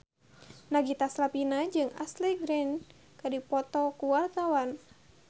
Nagita Slavina jeung Ashley Greene keur dipoto ku wartawan